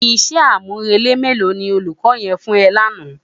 Isè ámúrélé mélò ni ólúkò yèn fún è làná?